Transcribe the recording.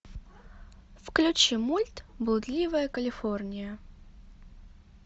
включи мульт блудливая калифорния